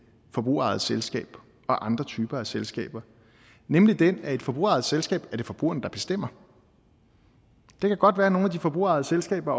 forbrugerejet selskab og andre typer af selskaber nemlig den at ved et forbrugerejet selskab er det forbrugerne der bestemmer det kan godt være at nogle af de forbrugerejede selskaber